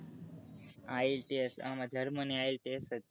ilets આમાં germanyITLS જ ચાલે